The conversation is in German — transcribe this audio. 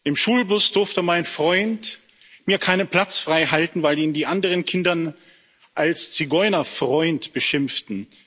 Im Schulbus durfte mein Freund mir keinen Platz freihalten, weil ihn die anderen Kinder als Zigeunerfreund beschimpften.